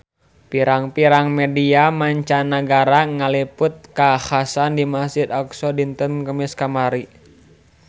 Pirang-pirang media mancanagara ngaliput kakhasan di Masjid Aqsa dinten Kemis kamari